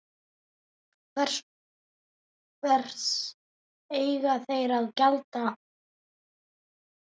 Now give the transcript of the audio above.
Hvers eiga þeir að gjalda?